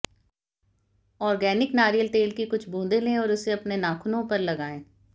organic नारियल तेल की कुछ बूंदें लें और उसे अपने नाखूनों पर लगाएं